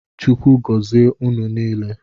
Chukwu gozie ụnụ niile.